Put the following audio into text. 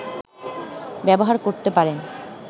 ব্যবহার করতে পারেন